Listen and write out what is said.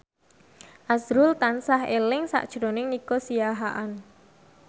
azrul tansah eling sakjroning Nico Siahaan